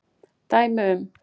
Dæmi um